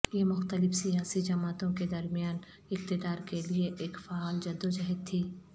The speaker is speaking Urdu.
یہ مختلف سیاسی جماعتوں کے درمیان اقتدار کے لئے ایک فعال جدوجہد تھی